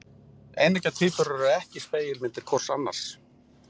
Eineggja tvíburar eru ekki spegilmyndir hvor annars.